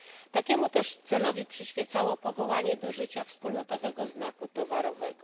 Takiemu też celowi przyświecało powołanie do życia wspólnotowego znaku towarowego.